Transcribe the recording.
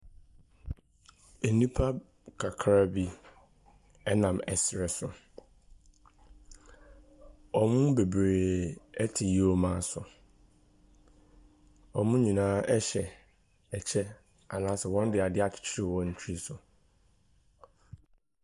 Nnipa kakraabi nam srɛ so, wɔn mu bebree te yomma so, wɔn nyinaa hyɛ kyɛ anaa sɛ wɔde ade akyekyere wɔn tiri soo.